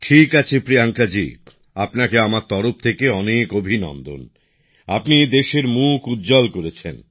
ঠিক আছে প্রিয়াঙ্কাজী আপনাকে আমার তরফ থেকে অনেক অভিনন্দন আপনি দেশের মুখ উজ্জ্বল করেছেন